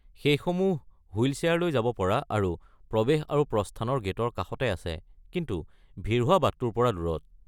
সেইসমূহ wheel chair লৈ যাব পৰা আৰু প্ৰৱেশ আৰু প্ৰস্থানৰ গে’টৰ কাষতে আছে, কিন্তু ভিৰ হোৱা বাটতোৰ পৰা দূৰত।